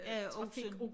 Ja osen